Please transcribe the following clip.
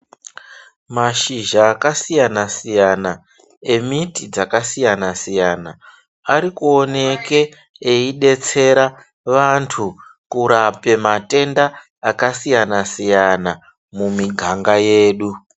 Mashizha akasiyana siyana embiti dzakasiyana siyana arikuoneka eyi detsera vantu kurape matenda akasiyana siyana mumuganga yedu.